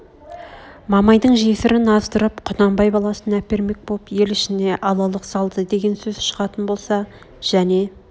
мамайдың жесірн аздырып құнанбай баласына әпермек боп ел ішне алалық салды деген сөз шығатын болса және